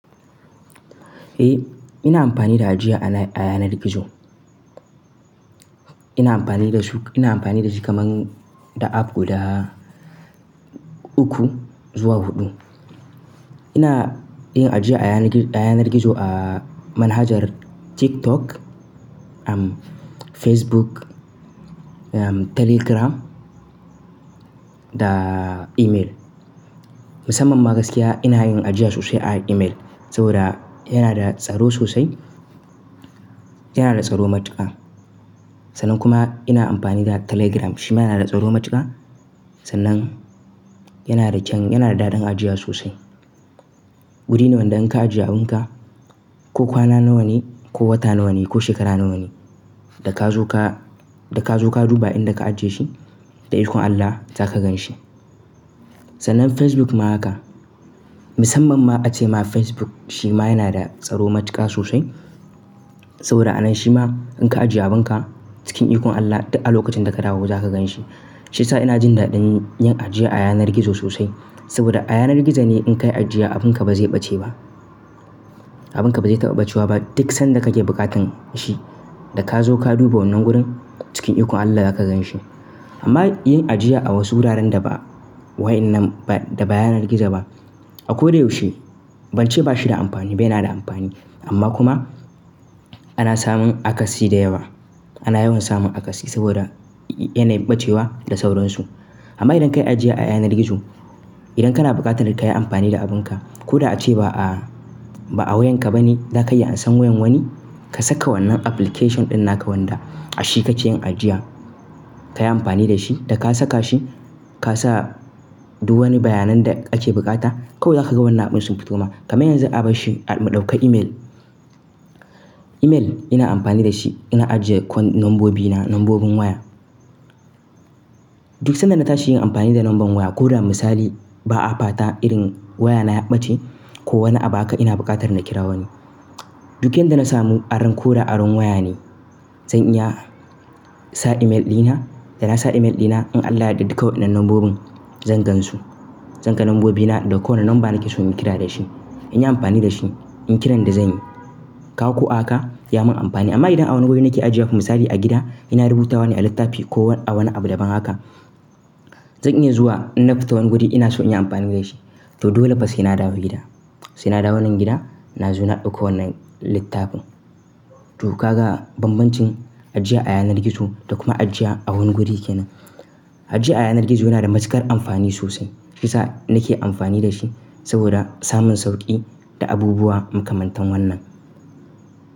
Eh, ina amfani da ajiya a yanar gizo. Ina amfani da su, ina amfani da shi kaman da app guda uku zuwa hudu ina yin ajiya a yanar gizo a manhajar TikTok, am Facebook, am Telegram da email. Musamman ma gaskiya ina yin ajiya sosai a email saboda yana da tsaro sosai, yana da tsaro matuka. Sannan kuma ina amfani da Telegram, shi ma na da tsaro matuka sannan yana da kyaun, yana da daɗin ajiya sosai. Wuri ne wanda in ka ajiye abin ka, ko kwana nawa ne ko wata nawa ne ko shekara nawa ne, da ka zo ka, da ka zo ka duba inda ka ajiye shi, da ikon Allah za ka gan shi. Sannan Facebook ma haka. Musamman ma ace ma Facebook shi ma yana da tsaro matuka sosai saboda a nan shi ma in ka ajiye abin ka cikin ikon Allah duk a lokacin da ka dawo za ka gan shi. Shi yasa ina jin daɗin yin ajiya a yanar gizo sosai saboda a yanar gizo ne in ka yi ajiya abin ka ba zai ɓace ba. Abin ka ba zai taɓa ɓacewa ba duk sanda ka ke buƙatan shi, da ka zo ka duba wannan gurin cikin ikon Allah za ka gan shi. Amma yin ajiya a wasu wuraren da ba wa'yannan ba da ba yanar gizo ba, a ko da yaushe, bance ba shi da amfani ba, yana da amfani. Amma kuma ana samun akatsi da yawa. Ana yawan samun akatsi saboda yana ɓacewa da sauransu. Amma idan ka yi ajiya a yanar gizo, idan kana buƙatar ka yi amfani da abin ka ko da ace ba a, ba a wayan ka ba ne, za ka iya amsan wayan wani, ka saka wannan application ɗin naka wanda a shi kace yin ajiya, ka yi amfani da shi, da ka saka shi ka sa duk wani bayanan da ake buƙata kawai za ka ga wannan abun sun fito ma. Kaman yanzu abar shi mu ɗauka email. Email ina amfani da shi ina ajiye kwan nombobi na, nombobin waya. Duk sanda na tashi yin amfani da nomban waya ko da misali ba a fata irin waya na ya ɓace ko wani abu haka ina buƙatar na kira wani. Duk inda na samu aron ko da aron waya ne, zan iya sa email ɗina, da na sa email ɗina in Allah yadda duka waɗannan nombobin zan gan su. Zan ga nombobi na da ko wane nomba nake so in yi kira da shi. In yi amfani da shi, in yi kiran da zanyi, kaga ko haka ya mun amfani. Amma idan a wani wuri nake ajiye wa, misali a gida ina rubuta wane a littafi ko a wani abu daban haka, zan iya zuwa in na fita wani guri ina so in yi amfani da shi. To dole fa sai na dawo gida. Sai na dawo wannan gida na zo na ɗauko wannan littafin. Toh ka ga banbancin ajiya a yanar gizo da kuma ajiya a wani guri kenan. Ajiya a yanar gizo yana da matukar amfani sosai. Shi sa nake amfani da shi saboda samun sauƙi da abubuwa makamantan wannan.